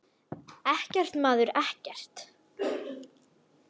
Ekkert, maður, ekkert.